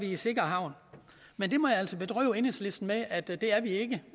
i sikker havn men jeg må altså bedrøve enhedslisten med at det er vi ikke